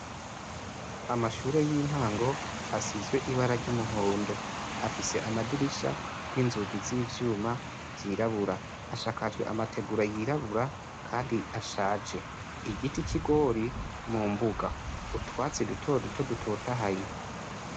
Amashure y'intango asizwe ibara ry'umuhondo afise amadirisha n'inzugu z'ivyuma zirabura ashakajwe amategura yirabura, kandi ashaje igiti kigori mu mbuga utwatsi duto duto dutotahaye.